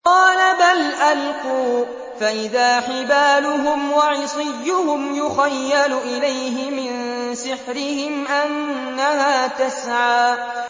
قَالَ بَلْ أَلْقُوا ۖ فَإِذَا حِبَالُهُمْ وَعِصِيُّهُمْ يُخَيَّلُ إِلَيْهِ مِن سِحْرِهِمْ أَنَّهَا تَسْعَىٰ